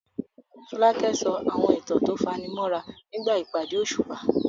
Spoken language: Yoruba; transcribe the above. Folake sọ àwọn ìtàn tó fani mọ́ra nígbà ìpàdé òṣùpá.